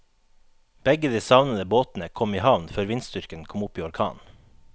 Begge de savnede båtene kom i havn før vindstyrken kom opp i orkan.